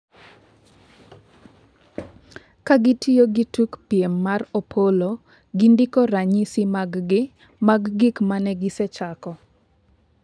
ka gitiyo gi tuk piem mar Opollo, gindiko ranyisi mag' gi mag gik mane gisechako